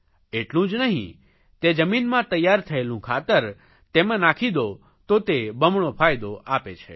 એટલું જ નહીં તે જમીનમાં તૈયાર થયેલું ખાતર તેમાં નાખી દો તો તે બમણો ફાયદો આપે છે